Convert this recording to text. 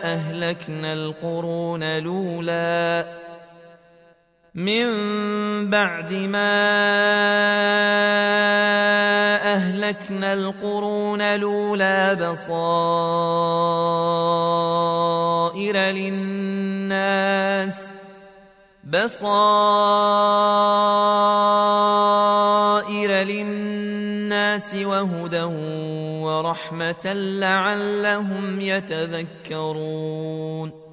أَهْلَكْنَا الْقُرُونَ الْأُولَىٰ بَصَائِرَ لِلنَّاسِ وَهُدًى وَرَحْمَةً لَّعَلَّهُمْ يَتَذَكَّرُونَ